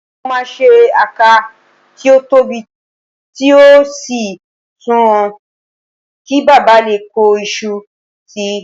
Mo máa ṣe àká tí ó tóbi tí ó sì sùnwọ̀n, kí baba lè kó iṣu sí i